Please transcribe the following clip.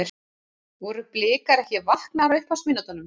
Voru Blikar ekki vaknaðir á upphafsmínútunum?